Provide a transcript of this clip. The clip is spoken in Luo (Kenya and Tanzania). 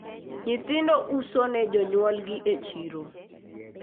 nyithindo uso ne jonyuolgi e chiro